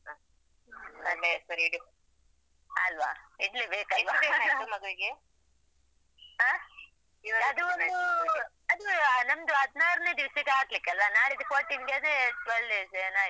ಇಡ್ಲೆ ಬೇಕಲ್ಲಾ ಹ ಅದು ಒಂದು ಅದು ಆ ನಮ್ದು ಹದ್ನಾರ್ನೆ ದಿವಸಕ್ಕೆ ಹಾಕ್ಲಿಕಲ್ವಾ ನಾಳಿದ್ದು fourteen ಗೆ twelve days ಯೇನ ಆಯ್ತು.